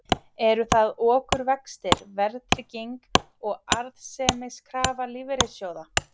Eru það okurvextir, verðtrygging og arðsemiskrafa lífeyrissjóða?